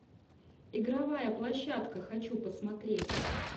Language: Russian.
игровая площадка хочу посмотреть